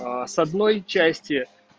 с одной части